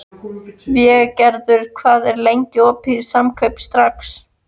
Végerður, hvað er lengi opið í Samkaup Strax?